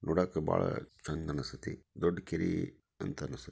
ನೋಡಕ್ಕ ಬಹಳ ಚೆಂದ್ ಅನಸತ್ತಿ ದೊಡ್ಡ ಕೆರಿ ಅಂತ ಅನ್ಸು--